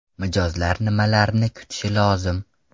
Mijozlar nimalarni kutishi lozim?